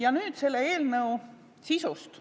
Aga nüüd selle eelnõu sisust.